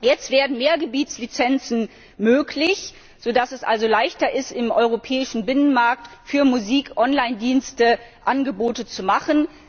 Jetzt werden mehr Gebietslizenzen möglich, sodass es also leichter ist, im europäischen Binnenmarkt für Musik Onlinedienste Angebote zu machen.